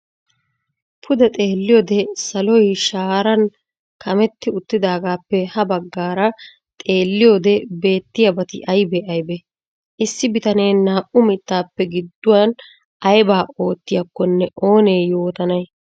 Pude xeeliyode saloy shaaran kametti uttidaagaappe ha baggaara xeeliyode beettiyabati aybee aybee? Issi bitanee naa"u mittaappe giduwan ayba oottiyakkonne oonee yoottanay?